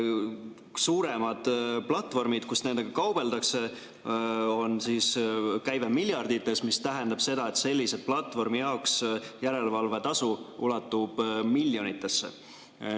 Suurematel platvormidel, kus nendega kaubeldakse, on käive miljardites, mis tähendab seda, et sellise platvormi jaoks järelevalvetasu ulatub miljonitesse.